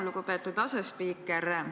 Lugupeetud asespiiker!